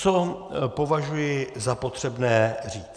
Co považuji za potřebné říct.